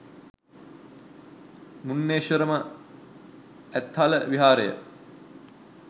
මුන්නේශ්වරම, ඇත්හල විහාරය